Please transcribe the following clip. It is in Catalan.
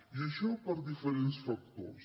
i això per diferents factors